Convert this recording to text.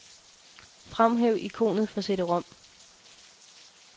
Fremhæv ikonet for cd-rom.